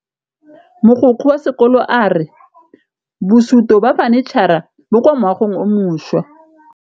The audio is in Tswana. Mogokgo wa sekolo a re bosutô ba fanitšhara bo kwa moagong o mošwa.